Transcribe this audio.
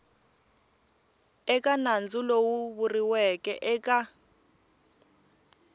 eka nandzu lowu vuriweke eka